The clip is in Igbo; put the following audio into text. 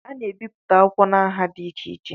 A na-ebipụta akwụkwọ na nha dị iche iche